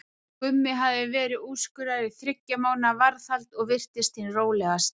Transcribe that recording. Gummi hafði verið úrskurðaður í þriggja mánaða varðhald og virtist hinn rólegasti.